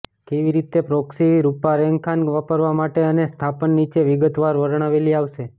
કેવી રીતે પ્રોક્સી રૂપરેખાંકન વાપરવા માટે અને સ્થાપન નીચે વિગતવાર વર્ણવેલી આવશે